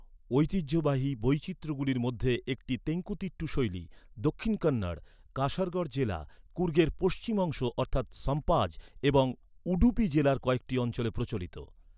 ঐতিহ্যবাহী বৈচিত্র্যগুলির মধ্যে একটি, তেঙ্কুতিট্টু শৈলী, দক্ষিণ কন্নড়, কাসারগড় জেলা, কুর্গের পশ্চিম অংশ অর্থাৎ সম্পাজ এবং উডুপি জেলার কয়েকটি অঞ্চলে প্রচলিত।